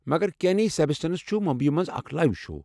مگر، کٮ۪نی سٮ۪بیسٹنس چھُ ممبیی منٛز اکھ لایو شو۔